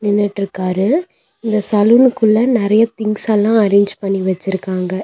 நின்னுட்ருக்காரு இந்த சலூனுக்குள்ள நெறைய திங்ஸெல்லா அரேஞ்ச் பண்ணி வெச்சுருக்காங்க.